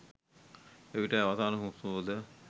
එවිටයි අවසාන හුස්ම පොඳ